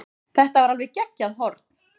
Þetta var alveg geggjað horn.